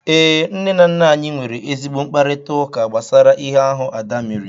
Ee, nne na nna anyị nwere ezigbo mkparịtaụka gbasara ihe ahụ Ada mere.